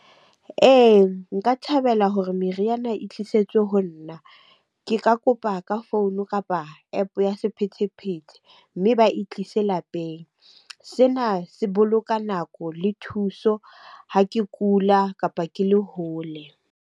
Ee, nka thabela hore meriana e tlisetswe ho nna. Ke ka kopa ka founu kapa App-o ya sephethephethe, mme ba e tlise lapeng. Sena se boloka nako le thuso ha ke kula, kapa ke le hole.